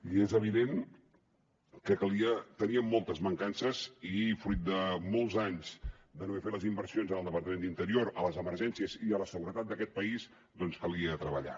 i és evident que teníem moltes mancances i fruit de molts anys de no haver fet les inversions en el departament d’interior a les emergències i a la seguretat d’aquest país doncs calia treballar